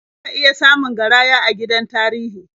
Za ka iya samun garaya a gidan tarihi.